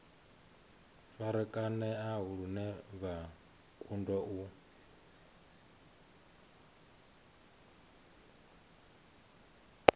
farakanea lune vha kundwa u